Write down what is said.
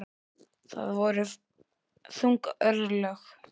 Það voru þung örlög.